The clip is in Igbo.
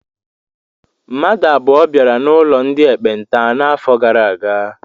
Mmadụ abụọ bịara n'ụlọ ndị ekpenta n'afọ gara aga.